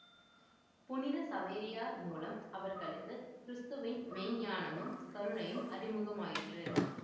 புனித சவேரியார் மூலம் அவர்களுக்கு கிறிஸ்துவின் மெய்ஞானமும் கருணையும் அறிமுகமாயிற்று